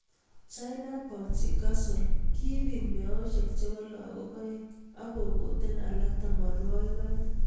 China bouncy castle>kibit meoshek chebo lakok aeng ak kokoten alak tamanwagik aeng.